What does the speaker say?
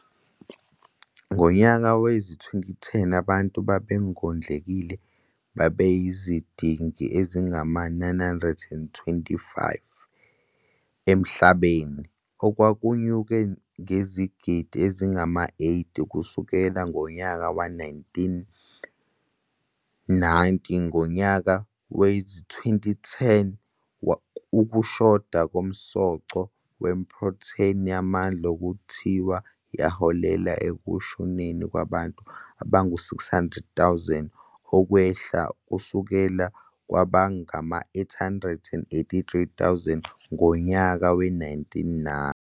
Ngonyaka wezi-2010 abantu ababengondlekile babeyizigidi ezingama-925 emhlabeni, okwakunyuke ngezigidi ezingama-80 kusukela ngonyaka we-1990. Ngonyaka wezi-2010 ukushoda komsoco wephrotheni yamandla kuthiwa yaholela ekushoneni kwabantu abangama- 600,000 okwehla kusuka kwabangama- 883,000 ngonyaka we-1990.